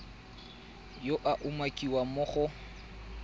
yo a umakiwang mo go